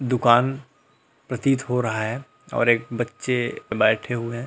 दुकान प्रतीत हो रहा है और एक बच्चे बैठे हुए हैं।